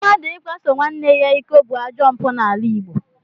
Mmadụ ịkwaso nwanne ya iko bụ ajọ mpụ n'ala Igbo